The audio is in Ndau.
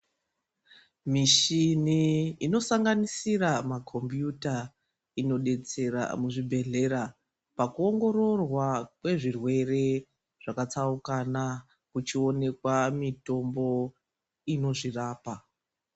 Mishini inosanganisira ma kompiyuta inodetsera muzvibhedhlera pakuongororwa kwezvirwere zvakatsaukana kuchionekwa mitombo inozvirapa.